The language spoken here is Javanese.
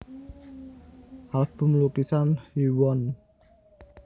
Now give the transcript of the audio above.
Album Lukisan Hyewon